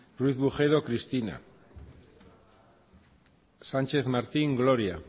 ruiz bujedo cristina sarasua díaz txaro sánchez martín gloria